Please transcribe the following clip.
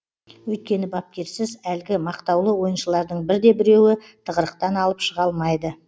өйткені бапкерсіз әлгі мақтаулы ойыншылардың бірде біреуі тығырықтан алып шыға алмайды